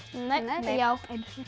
nei já